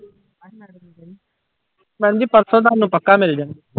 Madam ਜੀ ਪਰਸੋਂ ਤੁਹਾਨੂੰ ਪੱਕਾ ਮਿਲ ਜਾਣਗੇ।